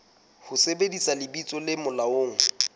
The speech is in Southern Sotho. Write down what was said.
ho sebedisa lebitso le molaong